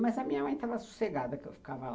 Mas a minha mãe estava sossegada que eu ficava lá.